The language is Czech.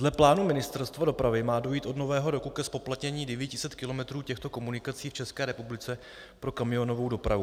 Dle plánů Ministerstva dopravy má dojít od Nového roku ke zpoplatnění 900 kilometrů těchto komunikací v České republice pro kamionovou dopravu.